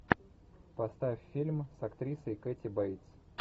поставь фильм с актрисой кэти бейтс